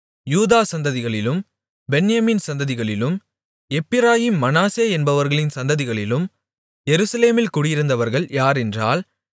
யூதா சந்ததிகளிலும் பென்யமீன் சந்ததிகளிலும் எப்பிராயீம் மனாசே என்பவர்களின் சந்ததிகளிலும் எருசலேமில் குடியிருந்தவர்கள் யாரென்றால்